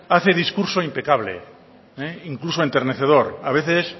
hace discurso impecable incluso enternecedor a veces